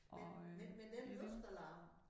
Men men men den luftalarm